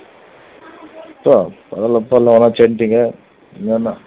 எல்லாம் சேர்ந்துட்டீங்க இனி என்ன